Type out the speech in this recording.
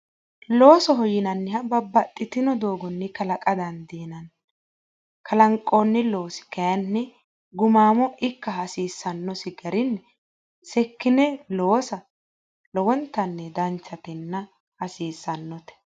Loosoho yinanniha bababxitinno doogonni kalaqa dandiinanni, kalanqoonni loosi kaayiinni gumaamo ikka hasiissanosi garino seekkine loosa danchatenna hasiissannote.